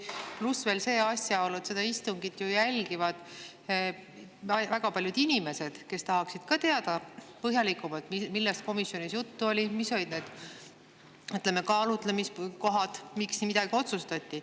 Pluss veel see asjaolu, et seda istungit jälgivad ju väga paljud inimesed, kes tahaksid põhjalikumalt teada, millest komisjonis juttu oli, mis olid need kaalutlemiskohad, miks midagi otsustati.